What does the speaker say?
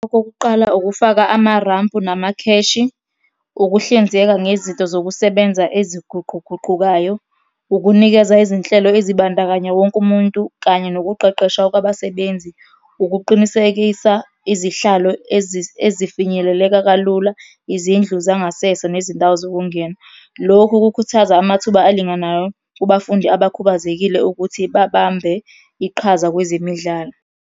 Okokuqala, ukufaka amarampu namakheshi, ukuhlinzeka ngezinto zokusebenza eziguquguqukayo, ukunikeza izinhlelo ezibandakanya wonke umuntu, kanye nokuqeqeshwa kwabasebenzi. Ukuqinisekisa izihlalo ezifinyeleleka kalula, izindlu zangasese nezindawo zokungena. Lokhu kukhuthaza amathuba alinganayo kubafundi abakhubazekile ukuthi babambe iqhaza kwezemidlalo.